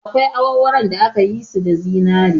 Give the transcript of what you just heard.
Akwai awarwaron da aka yi su da zinari